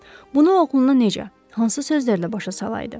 Bunu oğluna necə, hansı sözlərlə başa salaydı?